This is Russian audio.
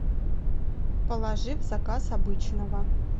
положи в заказ обычного